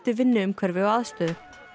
vinnuumhverfi og aðstöðu